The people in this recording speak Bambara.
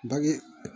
Bange